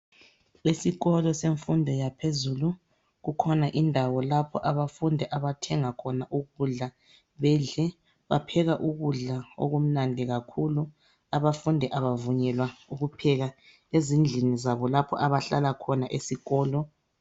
Esikolo semfundo yaphezulu kukhona indawo lapho abafundi abathenga khona ukudla bedle bapheka ukudla okumnandi kakhulu, abafundi abavunyelwa ukupheka ezindlini zabo lapho abahlala khona esikolo.